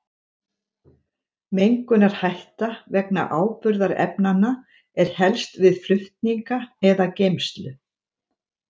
Mengunarhætta vegna áburðarefnanna er helst við flutninga eða geymslu.